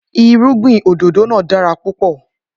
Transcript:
Irúgbìn òdòdó náà dára púpò